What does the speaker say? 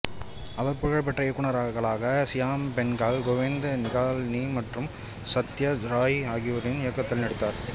அவர் புகழ் பெற்ற இயக்குனர்களான சியாம் பெனகல் கோவிந்த் நிகாலினி மற்றும் சத்யஜித் ராய் ஆகியோரின் இயக்கத்தில் நடித்தார்